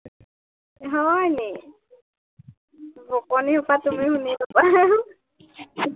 হয় নি, বকনিসোপা তুমি শুনি লবা